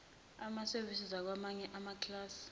amasevisi zakwamanye amaklasi